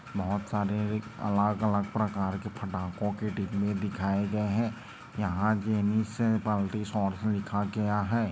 बहुत सारे अलग-अलग प्रकार के फटाको के टिकले दिखाए गए है यहाँ एनिसिस मल्टी शॉर्ट्स लिखा गया है।